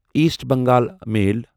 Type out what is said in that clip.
East Bengal میل